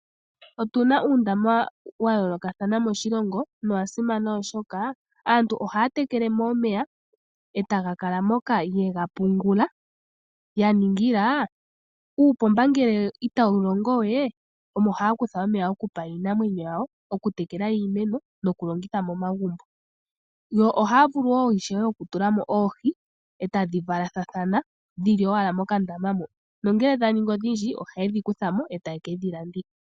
Otu na uundama wa yoolokathana moshilongo nowa simana oshoka, aantu ohaya tekele mo omeya e taga kala moka ye ga pungula, ya ningila uupomba ngele itawu longo we, omo haa kutha omeya okupa iinamwenyo yawo, okutekela iimeno nokulongitha momagumbo. Yo ohaa vulu ishewe okutula mo oohi, e tadhi valathana dhi li owala mokandama mo, nongele dha ningi odhindji ohaye dhi kutha mo e taye ke dhi landitha.